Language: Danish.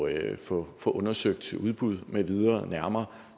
at få undersøgt udbud med videre nærmere